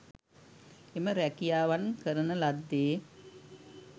එම රැකියාවන් කරන ලද්දේ